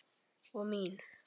Og mín